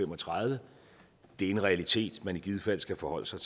og tredive det er en realitet man i givet fald skal forholde sig